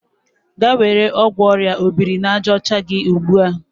Gaa were ọgwụ orịa obiri-na-aja ocha gị ugbu a!